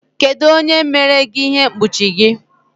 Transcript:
Kedu onye mere gị ihe mkpuchi gị?